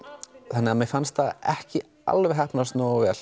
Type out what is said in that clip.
þannig að mér fannst það ekki alveg heppnast nógu vel